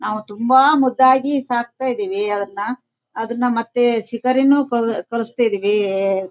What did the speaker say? ಮೊನ್ನೇ ನಮ್ ನಾಯಿಗೆ ಹುಷಾರಿರಲಿಲ್ಲ ಡಾಗಿ --